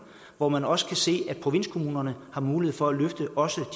hvor man også kan se at provinskommunerne har mulighed for at løfte også